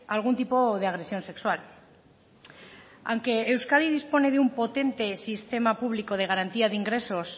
algún tipo de agresión sexual aunque euskadi dispone de un potente sistema público de garantía de ingresos